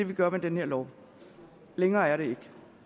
vi gør med den her lov længere er det ikke